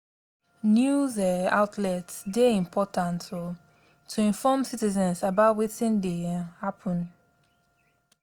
news um outlets dey important um to inform citizens about wetin dey um happen.